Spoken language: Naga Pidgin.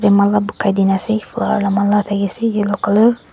mala bukhai dina asey asey yellow colour .